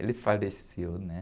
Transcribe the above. Ele faleceu, né?